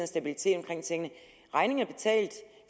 stabilitet i tingene regningen